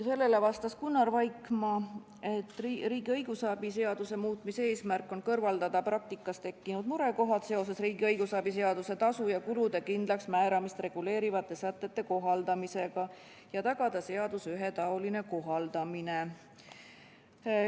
Sellele vastas Gunnar Vaikmaa, et riigi õigusabi seaduse muutmise eesmärk on kõrvaldada praktikas tekkinud murekohad seoses riigi õigusabi seaduse tasu ja kulude kindlaksmääramist reguleerivate sätete kohaldamisega ja tagada seaduse ühetaoline kohaldamine.